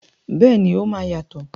Bẹ́ẹ̀ni, o máa yàtọ̀.